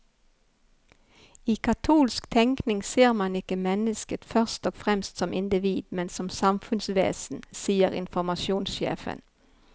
I katolsk tenkning ser man ikke mennesket først og fremst som individ, men som samfunnsvesen, sier informasjonssjefen.